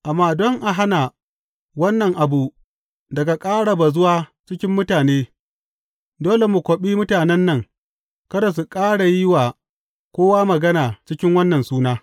Amma don a hana wannan abu daga ƙara bazuwa cikin mutane, dole mu kwaɓe mutanen nan kada su ƙara yi wa kowa magana cikin wannan suna.